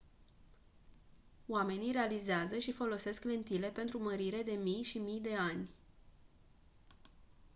omenii realizează și folosesc lentile pentru mărire de mii și mii de ani